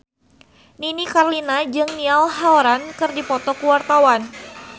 Nini Carlina jeung Niall Horran keur dipoto ku wartawan